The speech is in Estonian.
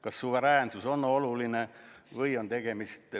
Kas suveräänsus on oluline?